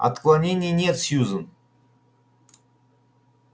отклонений нет сьюзен